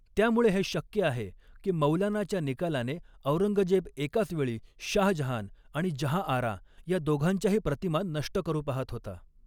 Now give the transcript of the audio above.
त्यामुळे हे शक्य आहे की मौलानाच्या निकालाने औरंगजेब एकाच वेळी शाहजहान आणि जहाँआरा या दोघांच्याही प्रतिमा नष्ट करू पाहत होता.